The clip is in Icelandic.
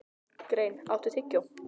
Grein, áttu tyggjó?